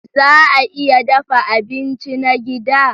Za a iya dafa abinci na gida?